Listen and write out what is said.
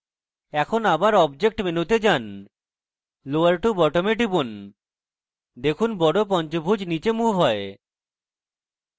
এখন আবার object মেনুতে যান lower to bottom এ টিপুন দেখুন বড় পঞ্চভূজ নীচে moved হয়